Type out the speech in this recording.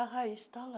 A raiz está lá.